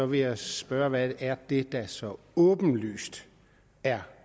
vil jeg spørge hvad det er der så åbenlyst er